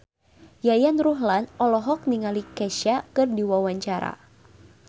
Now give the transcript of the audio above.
Yayan Ruhlan olohok ningali Kesha keur diwawancara